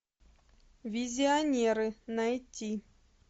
визионеры найти